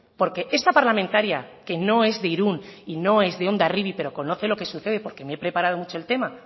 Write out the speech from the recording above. porque esta parlamentaria que no es de irún y no es de hondarribia pero conoce lo que sucede porque me he preparado mucho el tema